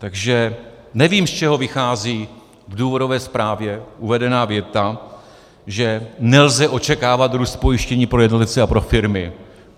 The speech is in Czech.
Takže nevím, z čeho vychází v důvodové zprávě uvedená věta, že nelze očekávat růst pojištění pro jednotlivce a pro firmy.